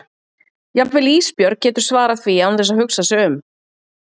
Jafnvel Ísbjörg getur svarað því án þess að hugsa sig um.